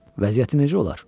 Vəziyyətin necə olar?